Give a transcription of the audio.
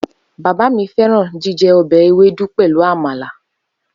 Baba mi feran jijẹ ọbẹ Ewedu Soup pelu amala.